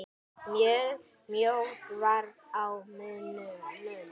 Mjög mjótt varð á munum.